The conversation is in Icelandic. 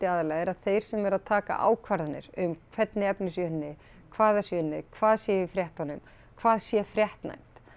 aðallega er að þeir sem eru að taka ákvarðanir um hvernig efni sé unnið hvað sé unnið hvað sé í fréttunum hvað sé fréttnæmt